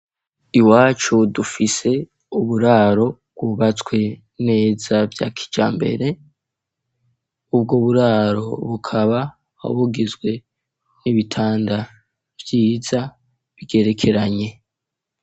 Iwacu dufise uburaro bwubatswe neza vyakiJambere .Ubwo buraro bukaba abugizwe n'ibitanda vyiza bigerekeranye.